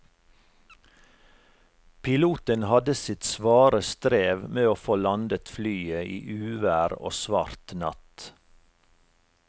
Piloten hadde sitt svare strev med å få landet flyet i uvær og svart natt.